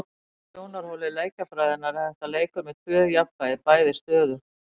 Frá sjónarhóli leikjafræðinnar er þetta leikur með tvö jafnvægi, bæði stöðug.